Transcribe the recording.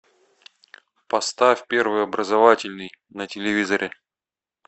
поставь первый образовательный на телевизоре